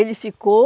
Ele ficou,